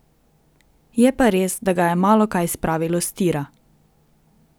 Je pa res, da ga je malokaj spravilo s tira.